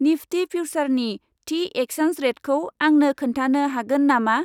निफ्टि फिउसारनि थि एक्चेन्ज रेटखौ आंनो खोन्थानो हागोन नामा?